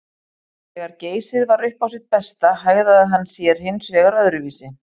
Þegar Geysir var upp á sitt besta hegðaði hann sér hins vegar öðruvísi.